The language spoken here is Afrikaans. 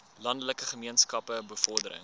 landelike gemeenskappe bevordering